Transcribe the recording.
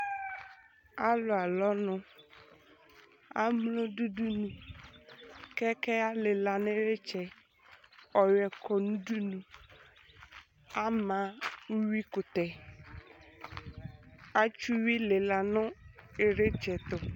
Alu alɔ ɔnu, aglɔ du udunu, ƙɛkɛ alilă nu itsɛ, ɔyuɛ kɔnu udunu, ama uwui kutɛ, atsi uwui lila nu ilitsɛtu